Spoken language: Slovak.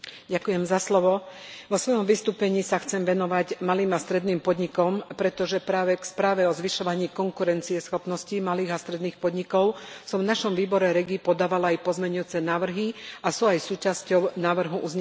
Vo svojom vystúpení sa chcem venovať malým a stredným podnikom, pretože práve k správe o zvyšovaní konkurencieschopnosti malých a stredných podnikov som v našom výbore REGI podávala aj pozmeňujúce návrhy a sú aj súčasťou návrhu uznesenia.